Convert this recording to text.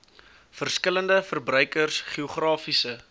verskillende verbruikers geografiese